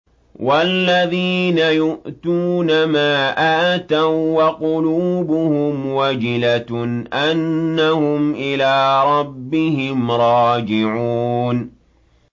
وَالَّذِينَ يُؤْتُونَ مَا آتَوا وَّقُلُوبُهُمْ وَجِلَةٌ أَنَّهُمْ إِلَىٰ رَبِّهِمْ رَاجِعُونَ